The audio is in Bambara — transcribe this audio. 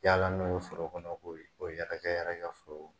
yaala n'o ye foro kɔnɔ ko ko o yɛrɛ yɛrɛ kɛ foro kɔnɔ.